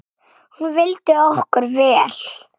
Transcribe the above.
Hún vildi okkur vel.